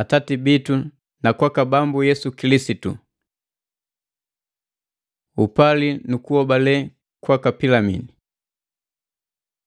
Atati bitu na kwaka Bambu Yesu Kilisitu. Upali nu kuhobale kwaka Pilimini